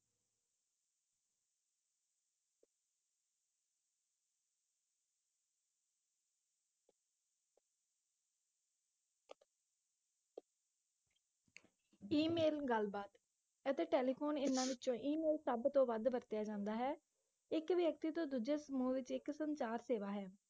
email ਗੱਲ ਬਾਤ ਅਤੇ ਟੈਲੀਫੋਨ ਇਹਨਾਂ ਵਿਚੋਂ ਈ-ਮੇਲ ਸਬਤੋਂ ਵੱਧ ਵਰਤਿਆ ਜਾਂਦਾ ਹੈ ਇੱਕ ਵ੍ਯਕਤੀ ਤੋਂ ਦੂਜੇ ਸਮੂਹ ਵਿਚ ਇੱਕ ਸੰਚਾਰ ਸੇਵਾ ਹੈ